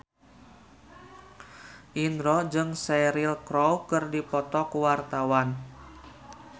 Indro jeung Cheryl Crow keur dipoto ku wartawan